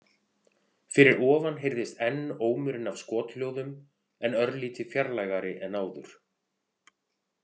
Fyrir ofan heyrðist enn ómurinn af skothljóðum, en örlítið fjarlægari en áður.